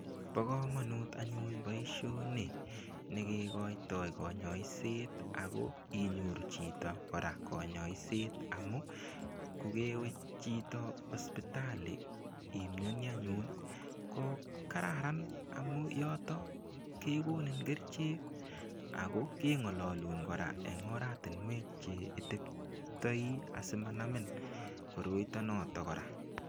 Bo komonut anyun boishoni nekekoitoi konyoiset ako inyoru chito kora konyoiset amu kokewe chito hospitali imioni anyun ko kararan amu yoto kekonin kerchek ako kengololun kora eng oratunwek che iteptoi asimanamin koroito notok kora